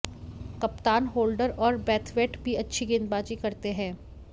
कप्तान होल्डर और ब्रैथवेट भी अच्छी गेंदबाजी करते हैं